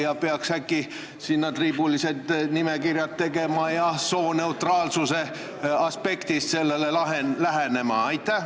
Vahest peaks sinna saatmiseks triibulised nimekirjad tegema ja sooneutraalsuse aspektist sellele lähenema?